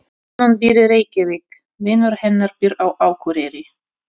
Konan býr í Reykjavík. Vinur hennar býr á Akureyri.